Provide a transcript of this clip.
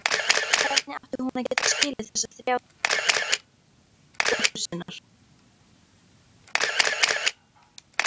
Hvernig átti hún að geta skilið þessa þrá dóttur sinnar?